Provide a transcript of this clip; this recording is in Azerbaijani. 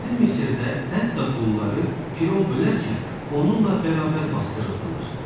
Qədim Misirdə hətta qulları Firon ölərkən onunla bərabər basdırırdılar.